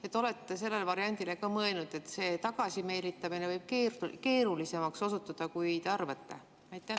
Kas te olete sellele variandile ka mõelnud, et see tagasimeelitamine võib osutuda keerulisemaks, kui te arvate?